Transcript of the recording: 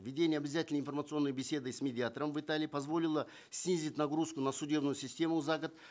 введение обязательной информационной беседы с медиатором в италии позволило снизить нагрузку на судебную систему за год